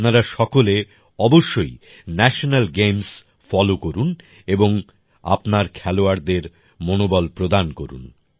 আপনারা সকলে অবশ্যই ন্যাশনাল গেমস ফলো করুন এবং আপনার খেলোয়াড়দের মনবল প্রদান করুন